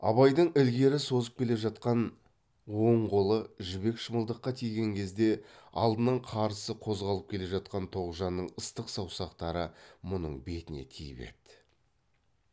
абайдың ілгері созып келе жатқан оң қолы жібек шымылдаққа тиген кезде алдынан қарсы қозғалып келе жатқан тоғжанның ыстық саусақтары мұның бетіне тиіп еді